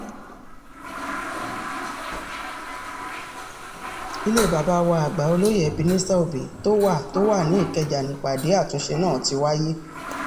ilé bàbá wa àgbà olóyè ebenezer obey tó wà tó wà ní ìkẹjà nípàdé àtúnṣe náà ti wáyé